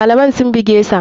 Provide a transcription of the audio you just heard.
Malaman sun bugesa.